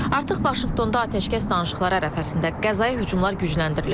Artıq Vaşinqtonda atəşkəs danışıqları ərəfəsində Qəzzaya hücumlar gücləndirilib.